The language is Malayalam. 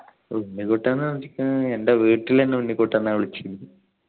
ഉണ്ണിക്കുട്ടൻ എൻ്റെ വീട്ടിൽ എന്നെ ഉണ്ണിക്കുട്ടൻ ന്ന വിളിക്കല്